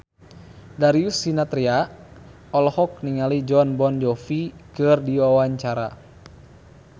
Darius Sinathrya olohok ningali Jon Bon Jovi keur diwawancara